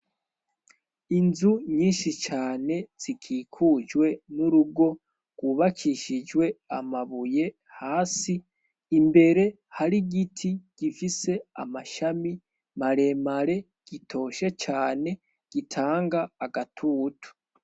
Inzu nyinshi cane zikikujwe n'urugo gwubakishijwe amabuye hasi imbere hari igiti gifise amashami mare mare gitoshe cane gitanga agatutu.